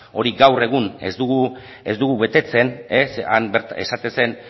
hori gaur egun ez dugu betetzen zeren han bertan esaten zen